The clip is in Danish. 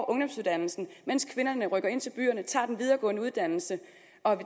ungdomsuddannelse mens kvinderne rykker ind til byerne og tager en videregående uddannelse